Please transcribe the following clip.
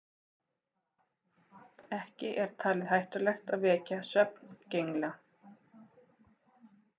Ekki er talið hættulegt að vekja svefngengla.